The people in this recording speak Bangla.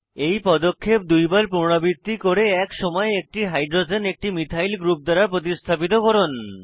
এই পদক্ষেপ দুইবার পুনরাবৃত্তি করে এক সময়ে একটি হাইড্রোজেন একটি মিথাইল গ্রুপ দ্বারা প্রতিস্থাপিত করুন